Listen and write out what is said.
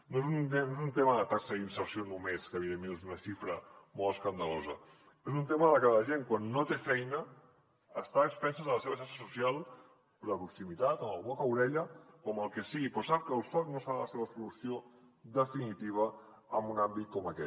no és un tema de taxa d’inserció només que evidentment és una xifra molt escandalosa és un tema de que la gent quan no té feina està a expenses de la seva xarxa social per la proximitat amb el boca orella o amb el que sigui però sap que el soc no serà la seva solució definitiva en un àmbit com aquest